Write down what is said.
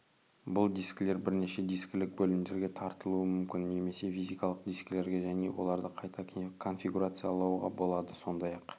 бұл дискілер бірнеше дискілік бөлімдерге таратылуы мүмкін немесе физикалық дискілерге және оларды қайта конфигурациялауға болады сондай-ақ